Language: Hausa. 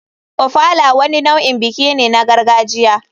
Ofala wani nau'in biki ne na gargajiya.